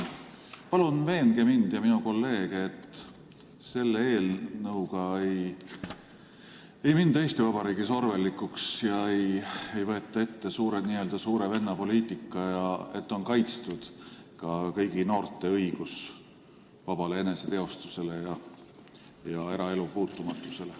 Palun veenge mind ja minu kolleege, et selle eelnõuga ei minda Eesti Vabariigis orwellilikuks ega käivitata n-ö suure venna poliitikat ning et on kaitstud ka kõigi noorte õigus vabale eneseteostusele ja eraelu puutumatusele.